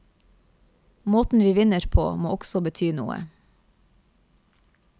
Måten vi vinner på må også bety noe.